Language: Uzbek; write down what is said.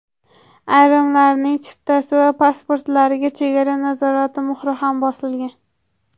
Ayrimlarining chiptasi va pasportlariga chegara nazorati muhri ham bosilgan.